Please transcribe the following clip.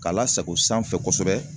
K'a lasago sanfɛ kosɛbɛ